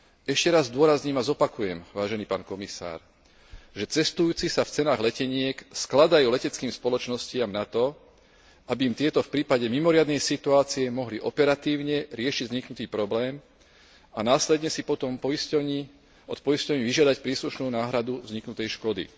Ešte raz zdôrazním a zopakujem, vážený pán komisár, že cestujúci sa v cenách leteniek skladajú leteckým spoločnostiam na to, aby im tieto v prípade mimoriadnej situácie mohli operatívne riešiť vzniknutý problém a následne si potom od poisťovní vyžiadať príslušnú náhradu vzniknutej škody.